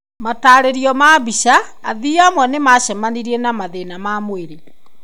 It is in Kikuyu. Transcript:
Mataarerio ma mbica. Athii amwe nĩ maacemanirie na mathĩna ma mwĩrĩ..